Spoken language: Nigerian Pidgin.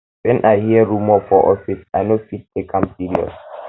wen i hear rumor for office i no dey take am serious